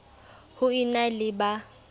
ho e na le ba